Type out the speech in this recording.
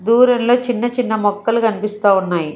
దూరంలో చిన్న చిన్న మొక్కలు కనిపిస్తా ఉన్నాయి.